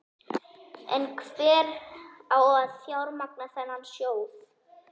En hver á að fjármagna þennan sjóð?